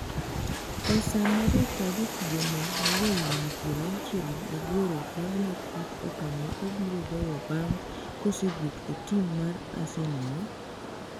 esama jata jotugono ma ja higni piero auchiel gi aboro paro matut okang' ma obiro goyo bang' kosewuok e tim mar Arsenal